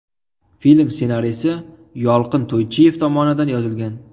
Film ssenariysi Yolqin To‘ychiyev tomonidan yozilgan.